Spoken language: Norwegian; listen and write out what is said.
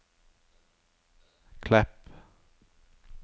Klepp